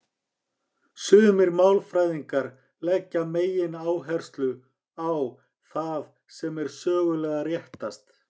Sumir málfræðingar leggja megináherslu á það sem er sögulega réttast.